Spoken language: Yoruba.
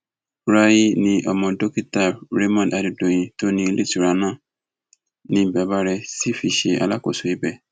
rahee ni ọmọ dókítà rahmon adédọyìn tó ní iléetura náà ni bàbá rẹ sì fi ṣe alákòóso ibẹ